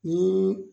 Ni